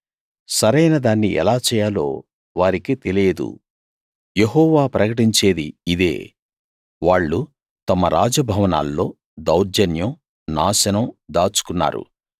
సరైనదాన్ని ఎలా చేయాలో వారికి తెలియదు యెహోవా ప్రకటించేది ఇదే వాళ్ళు తమ రాజ భవనాల్లో దౌర్జన్యం నాశనం దాచుకున్నారు